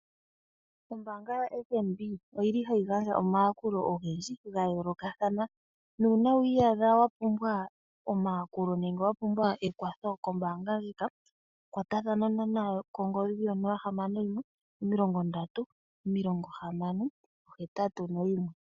Ombaanga yo Fnb oyili hayi gandja omayakulo ogendji ga yoolokathana. Nuuna wi iyadha wa pumbwa omayakulo nenge wa pumbwa ekwatho kombaanga ndjika kwatathana nayo kongodhi yo nola ,hamano, yimwe omilongo ndatu, omilongo hamano, ohetatu noyimwe.